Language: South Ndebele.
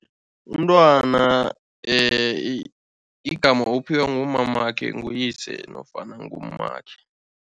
Umntwana igama uphiwa ngumamakhe, nguyise nofana ngummakhe.